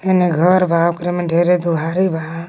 हेने घर बा ओकरे में ढेरे दुहारी बा।